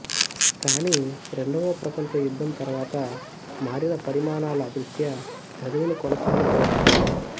కాని రెండవ ప్రపంచ యుద్ధం తరువాత మారిన పరిమాణాల దృష్ట్యా చదువును కొనసాగించలేకపోయింది